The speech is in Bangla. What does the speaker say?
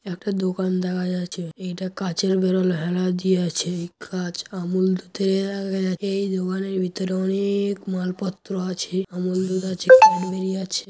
একটা দোকান দেখা যাচ্ছে। এইটা কাঁচের বেরোল হেলান দিয়ে আছে এই কাঁচ আমূল দুধের । এই দোকানের ভিতরে অনেক মালপত্র আছে। আমূল দুধ আছে ক্যাডবেরি আছে।